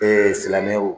silamɛw